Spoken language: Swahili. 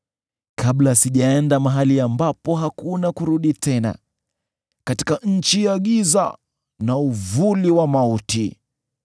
kabla sijaenda mahali ambapo hakuna kurudi tena, katika nchi ya giza na uvuli wa mauti,